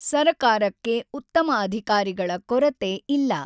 ಸರಕಾರಕ್ಕೆ ಉ್ತತಮ ಅಧಿಕಾರಿಗಳ ಕೊರತೆ ಇಲ್ಲ.